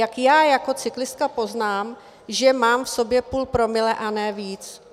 Jak já jako cyklista poznám, že mám v sobě půl promile a ne víc?